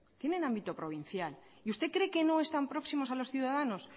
tienen ámbito provincial y usted cree que no están próximos a los ciudadanos